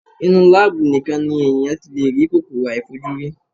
Inú láábù nìkan ni èèyàn ti lè rí kòkòrò àìfojúrí.